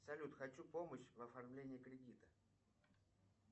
салют хочу помощь в оформлении кредита